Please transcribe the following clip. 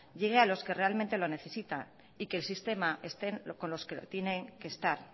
llegue a los que realmente lo necesitan y que el sistema estén con los que lo tienen que estar